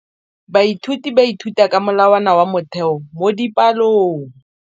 Baithuti ba ithuta ka molawana wa motheo mo dipalong.